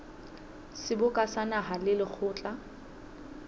seboka sa naha le lekgotla